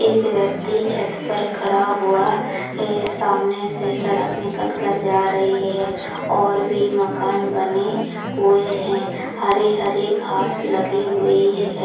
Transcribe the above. एक व्यक्ति छत पर खड़ा हुआ है सामने से सड़क निकल के जा रही है और भी माकन बने हुए हैं हरी-हरी घास लगी हुई है।